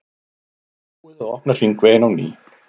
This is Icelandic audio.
Búið að opna hringveginn á ný